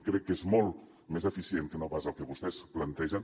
crec que és molt més eficient que no pas el que vostès plantegen